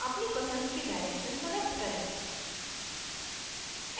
अपनी पसंद की direction select करें